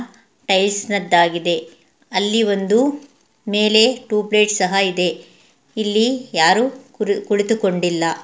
Ties ನದ್ದಾಗಿದೆ ಅಲ್ಲಿ ಒಂದು ಮೇಲೆ ಟ್ಯೂಬ್ ಲೈಟ್ ಸಹ ಇದೆ ಇಲ್ಲಿ ಯಾರು ಕು ಕುಳಿತುಕೊಂಡಿಲ್ಲ.